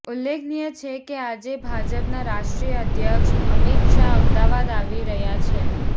ઉલ્લેખનીય છે કે આજે ભાજપના રાષ્ટ્રીય અધ્યક્ષ અમિત શાહ અમદાવાદ આવી રહ્યા છે